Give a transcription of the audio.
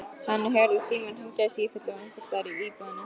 Henni heyrðist síminn hringja í sífellu einhvers staðar í íbúðinni.